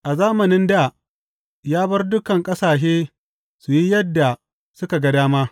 A zamanin dā, ya bar dukan ƙasashe su yi yadda suka ga dama.